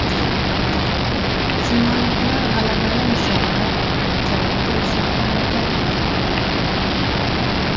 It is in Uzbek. Shimolliklar g‘alabani nishonlar, janubda esa motam edi.